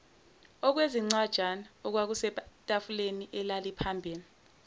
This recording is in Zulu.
okwezincwajana okwakusetafuleni elaliphambi